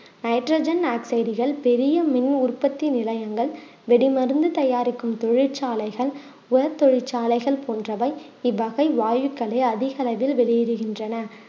nitrogen ஆக்சைடுகள் பெரிய மின் உற்பத்தி நிலையங்கள் வெடி மருந்து தயாரிக்கும் தொழிற்சாலைகள் உரத் தொழிற்சாலைகள் போன்றவை இவ்வகை வாயுக்களை அதிகளவில் வெளியிடுகின்றன